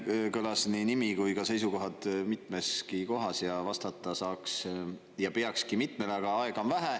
Siin kõlas nii nimi kui ka seisukohad mitmeski kohas ja vastata ta saaks ja peakski mitmele, aga aega on vähe.